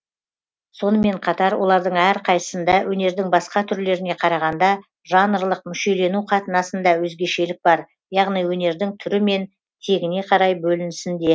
сонымен қатар олардың әрқайсысында өнердің басқа түрлеріне қарағанда жанрлық мүшелену қатынасында өзгешелік бар яғни өнердің түрі мен тегіне қарай бөлінісінде